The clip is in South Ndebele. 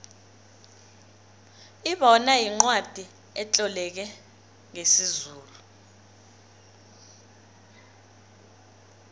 ibona yincwacli etloleke ngesizulu